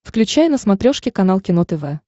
включай на смотрешке канал кино тв